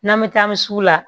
N'an bɛ taa an bɛ sugu la